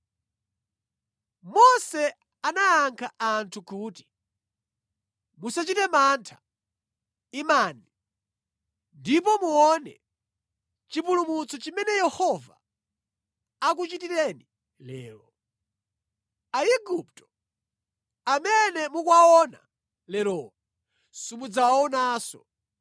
Mose anayankha anthu kuti, “Musachite mantha. Imani, ndipo muone chipulumutso chimene Yehova akuchitireni lero. Aigupto amene mukuwaona lerowa simudzawaonanso.